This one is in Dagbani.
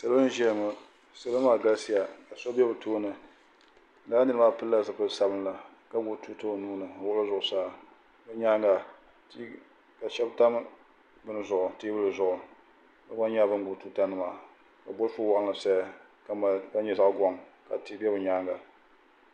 Salo n ʒiya ŋo salo maa galisiya ka so bɛ bi tooni laa nira maa pilila zipili sabinli ka gbubi tuuta o nuuni o nyaanga ka shab tam teebuli zuɣu bi gba nyɛla bin gbubi tuuta nima ka bolfu waɣanli saya ka mali ka nyɛ zaɣ goŋ ka tia bɛ di nyaanga